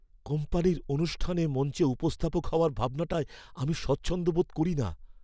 কোম্পানির অনুষ্ঠানে মঞ্চে উপস্থাপক হওয়ার ভাবনাটায় আমি স্বচ্ছন্দ বোধ করি না।